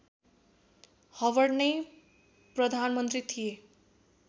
Howard नै प्रधानमन्त्री थिए